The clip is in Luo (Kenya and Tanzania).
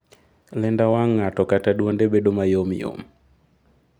Lenda wang' ng'ato kata duonde bedo mayom yom.